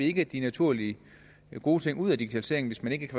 ikke de naturligt gode ting ud af digitaliseringen hvis man ikke